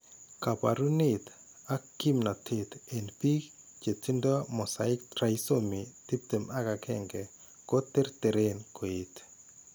Kaabarunet ak kimnateet eng' biik che tindo mosaic trisomy 21 ko terteren koet.